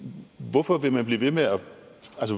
hvorfor